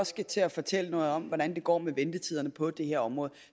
skal til at fortælle noget om hvordan det går med ventetiderne på det her område